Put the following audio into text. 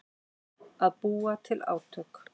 Að búa til átök